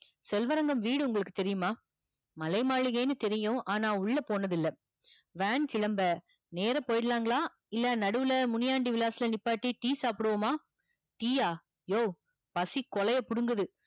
செல்வரங்கம் வீடு உங்களுக்கு தெரியுமா மலை மாளிகையினு தெரியும் ஆனா உள்ள போனது இல்ல van கிளம்ப நேரா போய்டலாங்களா நடுவுள்ள முனியாண்டி விலாஸ் ல நிப்பாட்டி tea சாப்புடுவோமா tea யா யோவ் பசி கொலையப் புடுங்குது